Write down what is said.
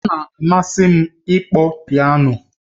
Ọ na-amasị m ịkpọ piano